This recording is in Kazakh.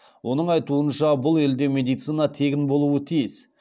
оның айтуынша бұл елде медицина тегін болуы тиіс